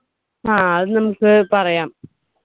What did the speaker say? ആ അത് നമ്മുക്ക് പറയാം.